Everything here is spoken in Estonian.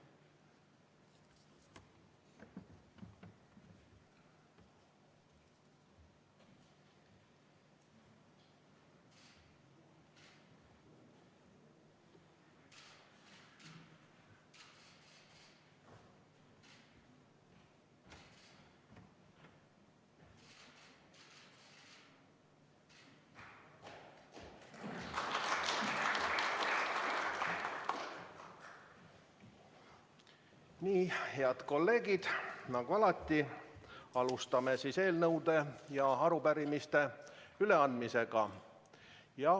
Nii, head kolleegid, nagu alati, alustame eelnõude ja arupärimiste üleandmisega.